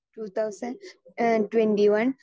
speaker 2 two thousand uh twenty one